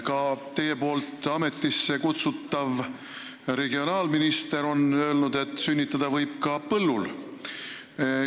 Ka teie poolt ametisse kutsutav regionaalminister on öelnud, et sünnitada võib ka põllul.